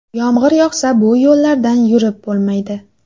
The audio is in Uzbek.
Yomg‘ir yog‘sa bu yo‘llardan yurib bo‘lmaydi.